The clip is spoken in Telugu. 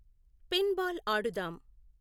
pin ball Aadudam